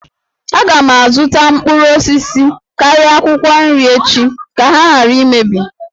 Aga m azụta mkpụrụ osisi karịa akwụkwọ nri echi ka ha ghara imebi